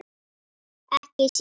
Ekki síðar.